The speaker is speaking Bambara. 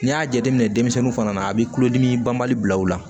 N'i y'a jateminɛ denmisɛnnin fana a bɛ kulodimi banbali bila u la